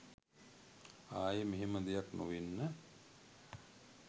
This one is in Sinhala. ආයෙ මෙහෙම දෙයක් නොවෙන්න